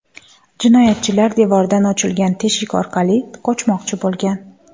Jinoyatchilar devordan ochilgan teshik orqali qochmoqchi bo‘lgan.